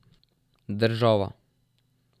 Država.